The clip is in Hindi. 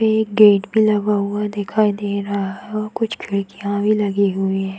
पे एक गेट भी लगा हुआ दिखाई दे रहा है और कुछ खिड़कियाँ भी लगी हुई है।